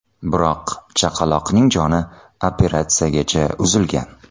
Biroq chaqaloqning joni operatsiyagacha uzilgan.